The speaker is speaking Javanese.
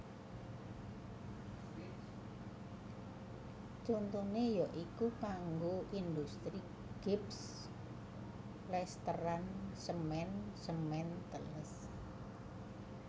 Contone ya iku kanggo industri gips plesteran semen semen teles